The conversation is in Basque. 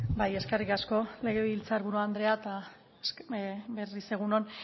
bai eskerrik asko legebiltzar buru andrea eta berriz egun on